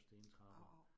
Av av